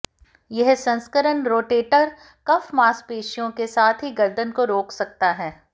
यह संस्करण rotator cuff मांसपेशियों के साथ ही गर्दन को रोक सकता है